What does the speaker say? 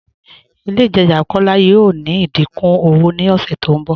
Ilẹ̀ Itaajà Kọla yọọ ní ìdíkún ọwọ̀ ni ọṣẹ tó nbọ.